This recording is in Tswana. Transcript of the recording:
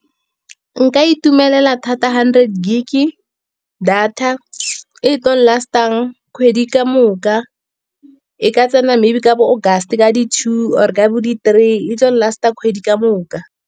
Nka itumelela thata hundred gig-e data e tlo last-ang kgwedi ka moka. E ka tsena maybe ka bo August ka di-two or ka bo di-three e tlo last-a kgwedi ka moka.